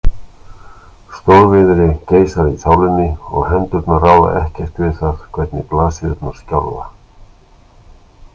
Stórviðri geisar í sálinni og hendurnar ráða ekkert við það hvernig blaðsíðurnar skjálfa.